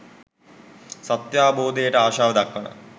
සත්‍යාවබෝධයට ආශාව දක්වන